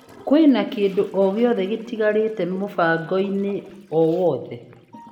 Kwĩna kĩndũ ogĩothe gĩtigarĩte mũbango-inĩ o wothe?